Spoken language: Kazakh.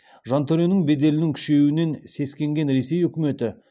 жантөренің беделінің күшеюінен сескенген ресей үкіметі